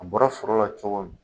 A bɔra foro la cogo min